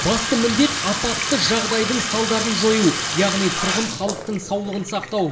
басты міндет апатты жағдайдың салдарын жою яғни тұрғын халықтың саулығын сақтау